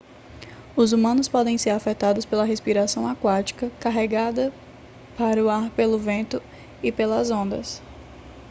os humanos podem ser afetados pela respiração aquática carregada para o ar pelo vento e pelas ondas